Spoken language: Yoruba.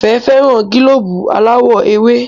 Ìfẹ́ féràn gílóòbù aláwò ewe.